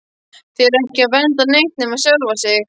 Þeir eru ekki að vernda neitt nema sjálfa sig!